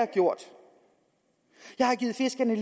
gjort jeg har givet fiskerne